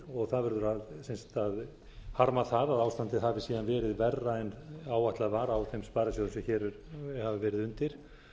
og það verður að harma það að ástandið hafi síðan verið verra en áætlað var á þeim sparisjóðum sem hér hafa verið undir